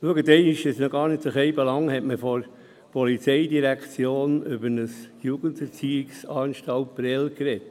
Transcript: Es ist noch gar nicht so lange her, dass man vonseiten der POM über die Jugenderziehungsanstalt Prêles gesprochen hat.